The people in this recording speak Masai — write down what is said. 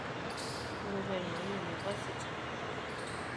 iloto aigoru University